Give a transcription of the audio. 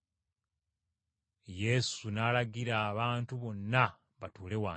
Yesu n’alagira abantu bonna batuule wansi,